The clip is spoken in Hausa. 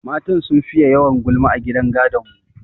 Matan sun fiye yawan gulma a gidan gadon mu.